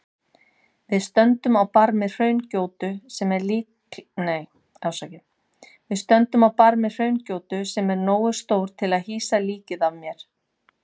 Við stöndum á barmi hraungjótu sem er nógu stór til að hýsa líkið af mér.